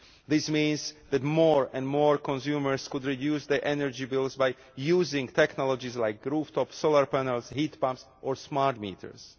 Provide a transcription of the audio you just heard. This means that more and more consumers could reduce their energy bills by using technologies like rooftop solar panels, heat pumps or smart meters.